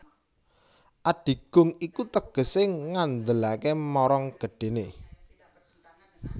Adigung iku tegesé ngandelaké marang gedhéné